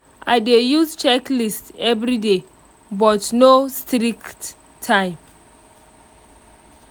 i dey use checklist everyday but no strict time